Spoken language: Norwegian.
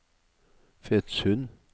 Fetsund